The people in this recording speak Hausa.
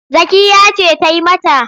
Zakkiyya ce ta yi mata.